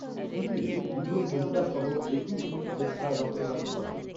শিবিরে দু'জন মহিলা সহ একুশ জন স্বেচ্ছায় রক্তদান করেন।